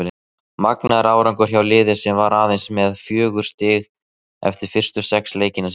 Magnaður árangur hjá liði sem var aðeins með fjögur stig eftir fyrstu sex leiki sína.